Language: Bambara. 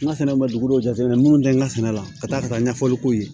N ka sɛnɛw bɛ dugu dɔw jateminɛ minnu tɛ n ka sɛnɛ la ka taa ka taa ɲɛfɔli k'u ye